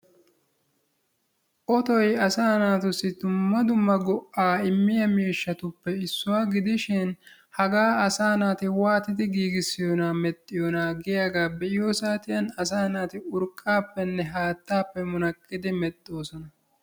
Otoy asa naatussi dumma dumma go''a immiya miishshatuppe issuwa gidishin hagaasa waattidi giissiyoona medhdhiyoone giyooge be'iyoo saatiyan urqqappe haattappe munaqqidi walakkidi medhdhoosona.